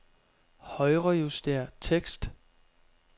Højrejuster tekst.